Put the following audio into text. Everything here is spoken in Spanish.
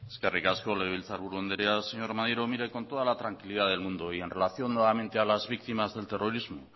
eskerrik asko legebiltzarburu andrea señor maneiro con toda la tranquilidad del mundo y en relación nuevamente a las víctimas del terrorismo